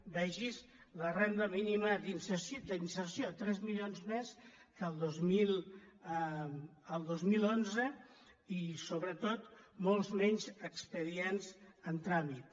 vegi’s la renda mínima d’inserció tres mili·ons més que el dos mil onze i sobretot molts menys expedients en tràmit